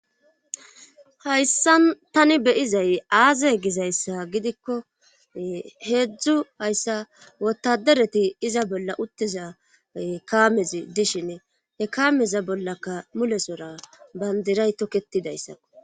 hayssan tani be7izay aaze gizayssa gidikko heedzdzu hayssa wotadereti iza bolla uttiza ee kaamezi dishini he kaameza bollaka mulesora banddiray tokettidayssakko.